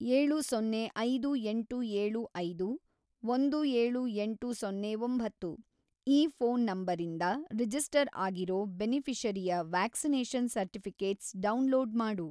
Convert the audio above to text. ೭೦೫೮೭೫೧೭೮೦೯ ಈ ಫ಼ೋನ್‌ ನಂಬರಿಂದ ರಿಜಿಸ್ಟರ್‌ ಆಗಿರೋ ಬೆನಿಫಿ಼ಷರಿಯ ವ್ಯಾಕ್ಸಿನೇಷನ್‌ ಸರ್ಟಿಫಿ಼ಕೇಟ್ಸ್‌ ಡೌನ್‌ಲೋಡ್‌ ಮಾಡು.